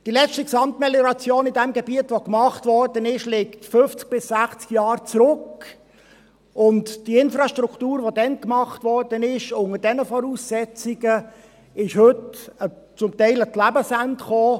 Die letzte Gesamtmelioration, welche in diesem Gebiet gemacht wurde, liegt 50 bis 60 Jahre zurück, und die Infrastruktur, die damals unter diesen Voraussetzungen gemacht wurde, kommt heute zum Teil an ihr Lebensende;